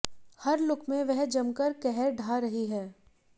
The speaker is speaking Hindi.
हर लुक में वह जमकर कहर ढा रही हैं